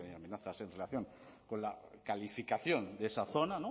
hay amenazas en relación con la calificación de esa zona